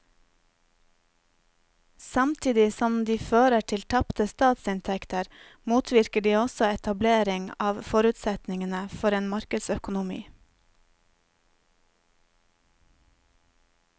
Samtidig som de fører til tapte statsinntekter motvirker de også etablering av forutsetningene for en markedsøkonomi.